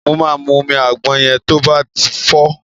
Mo máa mú omi àgbọn yẹn to bá ti fọ́ ọ.